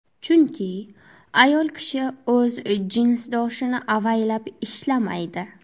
Chunki ayol kishi o‘z jinsdoshini avaylab ishlamaydi.